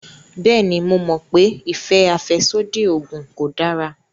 Bẹ́ẹ̀ni, mo mọ̀ pé ìfẹ́ àfẹ́sódì oògùn kò dára